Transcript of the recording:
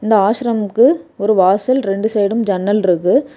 இந்த ஆசிரமுக்கு ஒரு வாசல் ரெண்டு சைடும் ஜன்னல் இருக்கு.